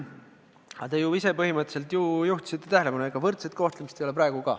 Aga te ju ise põhimõtteliselt juhtisite tähelepanu sellele, et võrdset kohtlemist ei ole ka praegu.